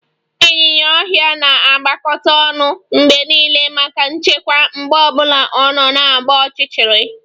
Ịnyinya ọhịa na-agbakọta ọnụ mgbe niile maka nchekwa mgbe ọ bụla ọ na-agba ọchịchịrị